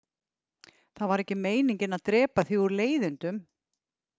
Það var ekki meiningin að drepa þig úr leiðindum